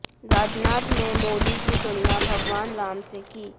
राजनाथ ने मोदी की तुलना भगवान राम से की